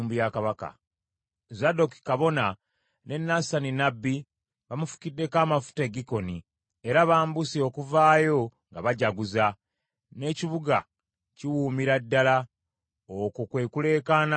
Zadooki kabona ne Nasani nnabbi bamufukiddeko amafuta e Gikoni, era bambuse okuvaayo nga bajaguza, n’ekibuga kiwuumira ddala. Okwo kwe kuleekaana kwe muwulira.